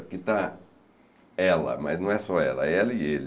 Aqui está ela, mas não é só ela, é ela e ele.